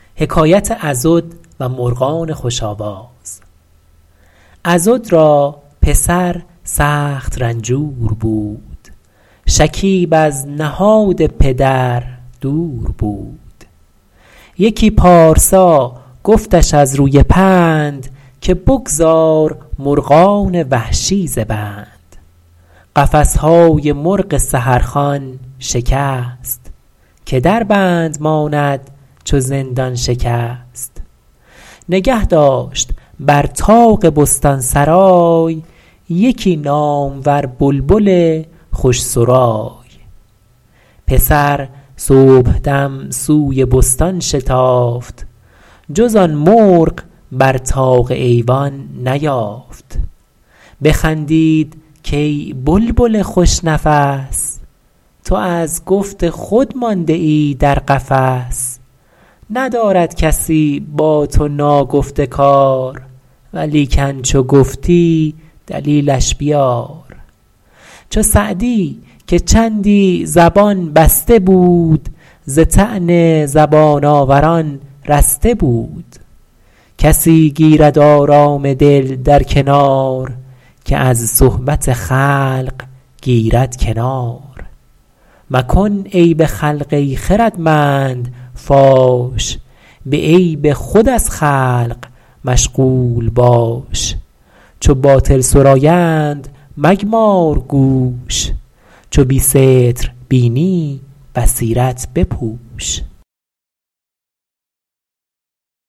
عضد را پسر سخت رنجور بود شکیب از نهاد پدر دور بود یکی پارسا گفتش از روی پند که بگذار مرغان وحشی ز بند قفس های مرغ سحر خوان شکست که در بند ماند چو زندان شکست نگه داشت بر طاق بستان سرای یکی نامور بلبل خوش سرای پسر صبحدم سوی بستان شتافت جز آن مرغ بر طاق ایوان نیافت بخندید کای بلبل خوش نفس تو از گفت خود مانده ای در قفس ندارد کسی با تو ناگفته کار ولیکن چو گفتی دلیلش بیار چو سعدی که چندی زبان بسته بود ز طعن زبان آوران رسته بود کسی گیرد آرام دل در کنار که از صحبت خلق گیرد کنار مکن عیب خلق ای خردمند فاش به عیب خود از خلق مشغول باش چو باطل سرایند مگمار گوش چو بی ستر بینی بصیرت بپوش